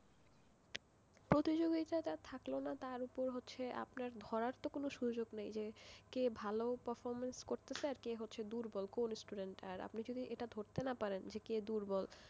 প্রতিযোগিতাটা থাকল না তারপর হচ্ছে আপনার ধরার তো কোন সুযোগ নেই যে কে ভালো performance করছে কে দুর্বল কোন student আপনি যদি এটা ধরতে না পারেন যে কে দুর্বল,